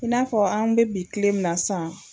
I n'a fɔ an be bi kile min na sisan